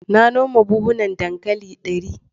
Na noma buhunan dankali dari.